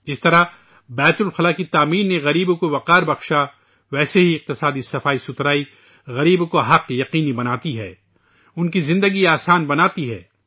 جس طرح بیت الخلاء کی تعمیر نے غریبوں کے وقار میں اضافہ کیا ، اسی طرح معاشی صفائی ستھرائی غریبوں کے حقوق کو یقینی بناتی ہے ، ان کی زندگی آسان بناتی ہے